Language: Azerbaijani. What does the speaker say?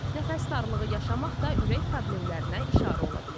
Nəfəs darlığı yaşamaq da ürək problemlərinə işarə ola bilir.